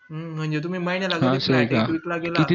हम्म म्हणजे तुम्ही महिन्याला गेला